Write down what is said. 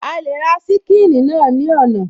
A lè ra ṣíkìnnì náà ní ọ̀nà